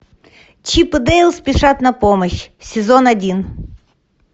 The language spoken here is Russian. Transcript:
чип и дейл спешат на помощь сезон один